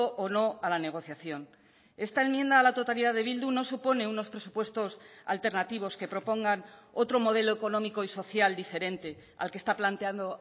o no a la negociación esta enmienda a la totalidad de bildu no supone unos presupuestos alternativos que propongan otro modelo económico y social diferente al que está planteando